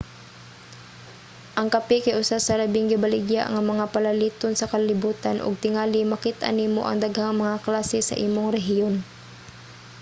ang kape kay usa sa labing gibaligya nga mga palaliton sa kalibutan ug tingali makit-an nimo ang daghang mga klase sa imong rehiyon